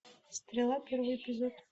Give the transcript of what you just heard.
стрела первый эпизод